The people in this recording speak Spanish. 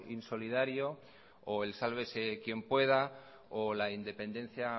insolidario o el sálvese quien pueda o la independencia